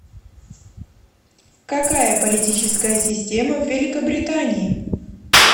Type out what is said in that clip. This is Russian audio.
какая политическая система в великобритании